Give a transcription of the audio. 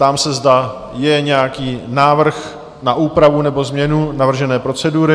Ptám se, zda je nějaký návrh na úpravu nebo změnu navržené procedury?